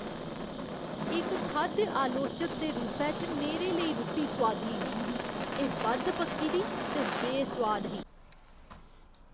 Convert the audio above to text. इक खाद्य आलोचक दे रूपै च मेरे लेई रुट्टी सोआदली नेईं ही। एह् बद्ध पक्की दी ते बेसोआद ही।